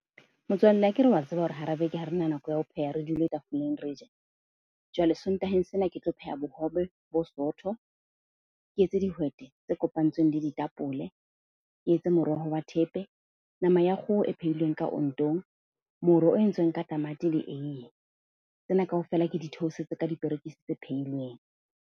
Motswalle, akere wa tseba hore hara beke ha rena nako ya ho pheha, re dule tafoleng re je. Jwale sontaheng sena, ke tlo pheha bohobe bo sootho, ke etse dihwete tse kopantsweng le ditapole, ke etse moroho wa thepe, nama ya kgoho e phehilweng ka ontong, moro o entsweng ka tamati le eiye. Tsena kaofela ke di theosetse ka diperekisi tse pheilweng.